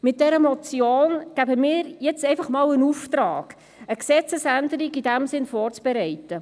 Mit dieser Motion geben wir jetzt den Auftrag, zunächst eine Gesetzesänderung in diesem Sinne vorzubereiten.